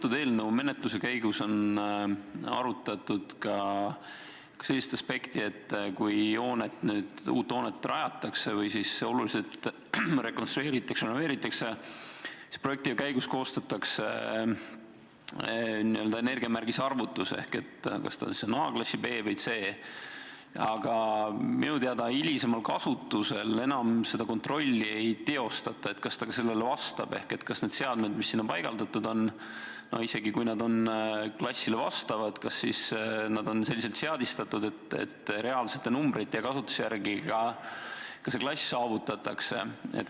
Kas eelnõu menetluse käigus on arutatud ka sellist aspekti, et kui uut hoonet rajatakse või oluliselt rekonstrueeritakse ja renoveeritakse, siis projekti käigus koostatakse n-ö energiamärgise arvutus, et kas ta kuulub A-, B- või C-klassi, aga minu teada hilisemal kasutusel enam seda kontrolli ei teostata, kas ta ka sellele vastab, ehk kas need seadmed, mis sinna paigaldatud on, isegi kui nad on klassile vastavad, on selliselt seadistatud, et reaalsete numbrite ja kasutuse järgi ka see klass saavutatakse?